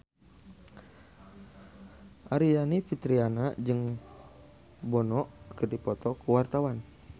Aryani Fitriana jeung Bono keur dipoto ku wartawan